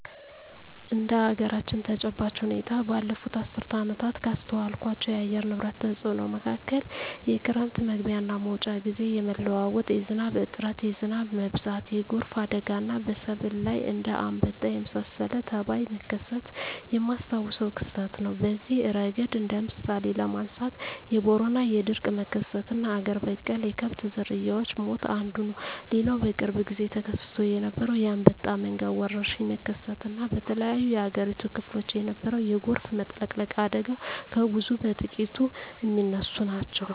እንደ አገራችን ተጨባጭ ሁኔታ ባለፋት አስርት ዓመታት ካስተዋልኳቸው የአየር ንብረት ተጽኖ መካከል የክረም መግቢያና መውጫ ግዜ የመለዋወጥ፣ የዝናብ እጥረት፣ የዝናብ መብዛት፣ የጎርፍ አደጋና በሰብል ላይ እንደ አንበጣ የመሳሰለ ተባይ መከሰት የማስታውሰው ክስተት ነው። በዚህ እረገድ እንደ ምሳሌ ለማንሳት የቦረና የድርቅ መከሰትና አገር በቀል የከብት ዝርያወች ሞት አንዱ ነው። ሌላው በቅርብ ግዜ ተከስቶ የነበረው የአንበጣ መንጋ ወረርሽኝ መከሰት እና በተለያዮ የአገሪቱ ክፍሎች የነበረው የጎርፍ መጥለቅለቅ አደጋ ከብዙ በጥቂቱ ሚነሱ ናቸው።